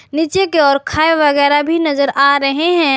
नीचे की ओर खाई वगैरह भी नजर आ रहे हैं।